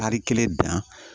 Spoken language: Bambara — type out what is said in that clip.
Tari kelen dan